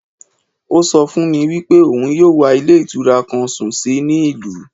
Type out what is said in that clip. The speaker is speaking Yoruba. Ó so fún mi wípé òun yóò wá Ilé Ìtura kan sùn sí ní ìlú